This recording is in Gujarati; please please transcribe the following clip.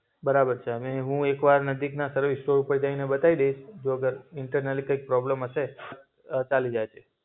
બરાબર છે. અને હું એક વાર નજીકના સર્વિસ સ્ટોર ઉપર જઈને બતાઈ દઈશ. જો અગર ઇન્ટરનલ કૈક પ્રોબ્લમ હશે. તો ચાલી જશે.